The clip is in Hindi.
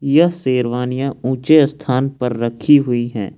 यह शेरवानियां ऊंचे स्थान पर रखी हुई है।